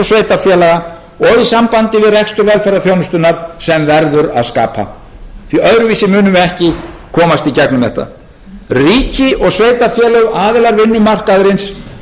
og í sambandi við rekstur velferðarþjónustunnar sem verður að skapa því öðruvísi munum við ekki komast í gegnum þetta ríki og sveitarfélög aðilar vinnumarkaðarins